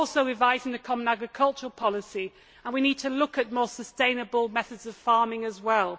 We are also revising the common agricultural policy, and we need to look at more sustainable methods of farming as well.